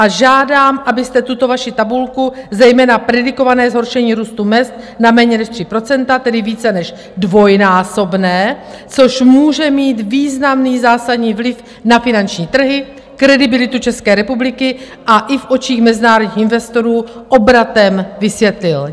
A žádám, abyste tuto vaši tabulku, zejména predikované zhoršení růstu mezd na méně než 3 %, tedy více než dvojnásobné, což může mít významný zásadní vliv na finanční trhy, kredibilitu České republiky a i v očích mezinárodních investorů, obratem vysvětlil.